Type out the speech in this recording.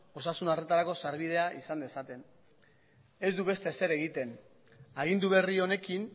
osasun arretarako sarbidea izan dezaten ez du beste ezer egiten agindu berri honekin